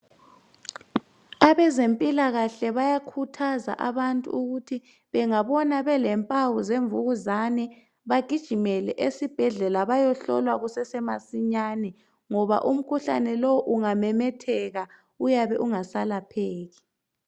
abezempikahle bayakhuthaza abantu ukuthi bengabona belempawu zemvukuzane bagijimele esibhedlela bayohlolwa kusese masinyane ngoba umkhuhlane lo ungamemetheka uyabe ungasalapheki